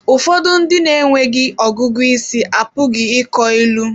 Ụfọdụ ndị na-enweghị ọgụgụ isi apụghị ịkọ ilu.